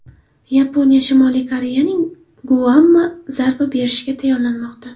Yaponiya Shimoliy Koreyaning Guamga zarba berishiga tayyorlanmoqda.